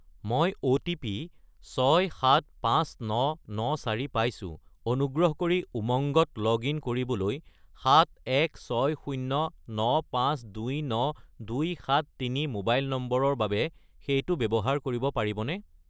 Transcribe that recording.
মই অ'টিপি 675994 পাইছোঁ, অনুগ্ৰহ কৰি উমংগত লগ-ইন কৰিবলৈ 71609529273 মোবাইল নম্বৰৰ বাবে সেইটো ব্যৱহাৰ কৰিব পাৰিবনে?